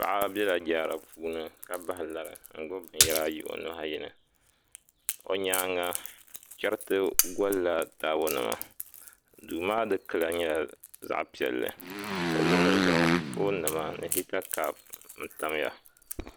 Paɣa bɛla jaara puuni ka bahi lari n gbubi binyɛra ayi o nuhi ayi ni o nyaanga chɛriti golla taabo nima duu maa dikpuna nyɛla zaɣ piɛlli o luɣuli zuɣu foon nima ni hita kaap n tamya